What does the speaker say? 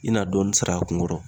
I n'a dɔɔnin sara a kun kɔrɔ.